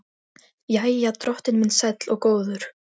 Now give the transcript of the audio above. Jæja, drottinn minn sæll og góður.